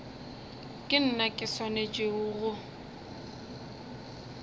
ke nna ke swanetšego go